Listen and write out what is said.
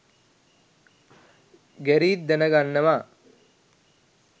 Gareth දැන ගන්නවා